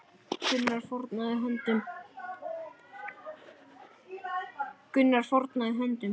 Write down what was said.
Gunnar fórnaði höndum.